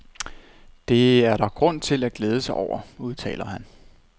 Det er der grund til at glæde sig over, udtaler han.